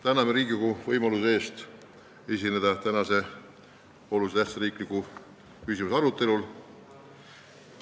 Täname Riigikogu võimaluse eest esineda tänase oluliselt tähtsa riikliku küsimuse arutelul!